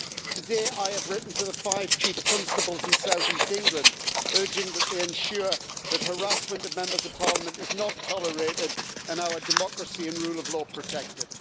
Today I have written to the five chief constables in South East England, urging that they ensure that harassment of Members of Parliament is not tolerated and our democracy and rule of law is protected.